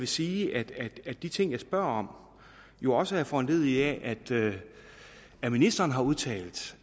sige at de ting jeg spørger om jo også er foranlediget af at ministeren har udtalt